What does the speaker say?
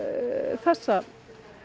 þessa